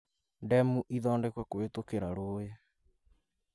demũ ĩthondekwo kũhitũkĩra rũũĩĩ.